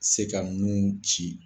Se ka nun ci